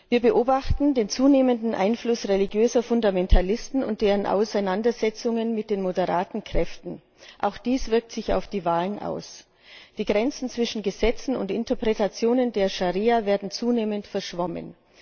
Wir beobachten den zunehmenden Einfluss religiöser Fundamentalisten und deren Auseinandersetzungen mit den moderaten Kräften. Auch dies wirkt sich auf die Wahlen aus. Die Grenzen zwischen Gesetzen und Interpretationen der Scharia werden zunehmend verschwommen.